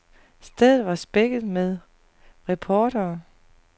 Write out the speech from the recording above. Stedet var spækket med reportere.